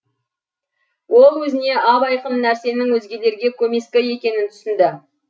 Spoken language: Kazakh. ол өзіне ап айқын нәрсенің өзгелерге көмескі екенін түсінді